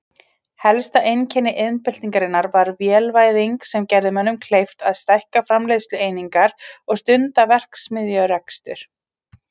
Helsta einkenni iðnbyltingarinnar var vélvæðing sem gerði mönnum kleift að stækka framleiðslueiningar og stunda verksmiðjurekstur.